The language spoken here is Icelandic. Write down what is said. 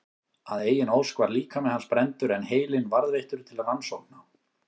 Að eigin ósk var líkami hans brenndur en heilinn varðveittur til rannsókna.